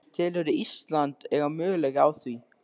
Telurðu Ísland eiga möguleika á því?